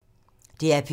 DR P2